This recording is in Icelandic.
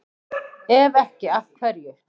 Ef ekki, af hverju?